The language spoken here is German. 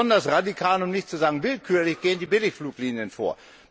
Besonders radikal, um nicht zu sagen willkürlich, gehen die Billigfluglinien vor.